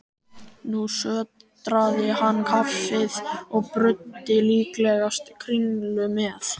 Nú sötraði hann kaffið og bruddi líklegast kringlu með.